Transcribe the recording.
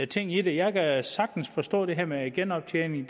ting i det jeg kan sagtens forstå det her med genoptjening